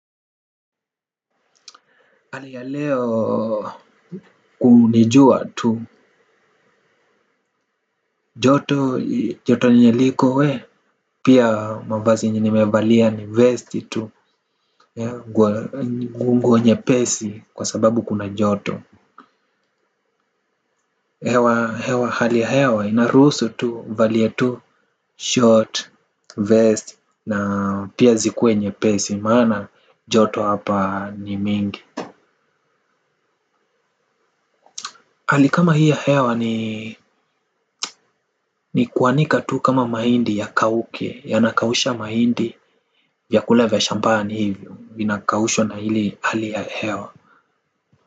Hali ya leo, ni jua tu. Tu, joto yenye liko we, pia mavazi yenye nimevalia ni vesti tu, nguo nyepesi kwa sababu kuna joto. Hali ya hewa, inaruhusu tu, valia tu, short, vest, na pia zikuwe nyepesi, maana joto hapa ni mingi. Hali kama hii ya hewa ni kuanika tu kama mahindi yakauke, yanakausha mahindi, vyakula vya shambani hivyo, vinakaushwa na hili hali ya hewa.